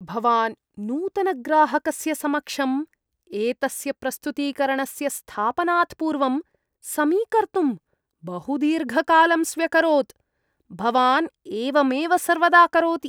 भवान् नूतनग्राहकस्य समक्षम् एतस्य प्रस्तुतीकरणस्य स्थापनात् पूर्वं समीकर्तुं बहुदीर्घकालं स्व्यकरोत्। भवान् एवमेव सर्वदा करोति।